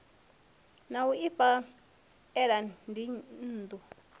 ya u ifha ela dzinnḓu